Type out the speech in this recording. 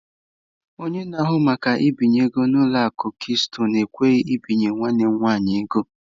Onye na-ahụ maka mbinye ego nke ụlọ akụ Keystọnụ ekweghị ebinye nwanne m nwanyị ego.